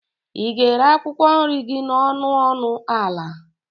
ị ga-ere akwụkwọ nri gị n'ọnụ ọnụ ala?